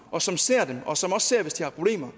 og som ser dem og som også ser hvis de har problemer